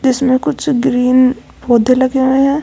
इसमें कुछ ग्रीन पौधे लगे हुए हैं।